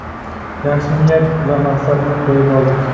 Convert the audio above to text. yaxshi niyat va maqsadni qo‘yib oldik.